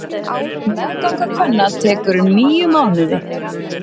Meðganga kvenna tekur um níu mánuði.